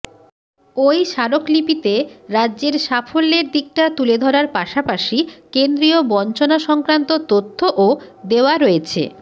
ওই স্মারকলিপিতে রাজ্যের সাফল্যের দিকটা তুলে ধরার পাশাপাশি কেন্দ্রীয় বঞ্চনা সংক্রান্ত তথ্যও দেওয়া রয়েছে